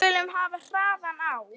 Við skulum hafa hraðann á.